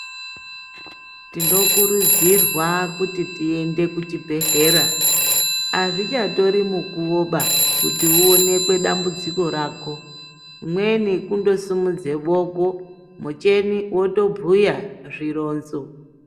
Tinokurudzirwa kuti tiende kuchibhedhlera, azvichatori mukuwo ba, kuti uonekwe dambudziko rako. Imweni kundosimudze boko muchhini wotobhuya zvironzo.